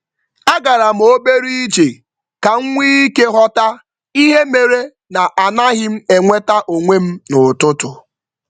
Agaram obere ije kam nwé íke ghọta ihe méré na anaghịm enweta onwem n'ụtụtụ